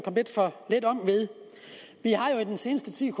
kom lidt for let om ved vi har jo i den seneste tid